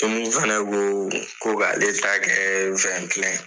Emi fana ko ko k'ale ta kɛ .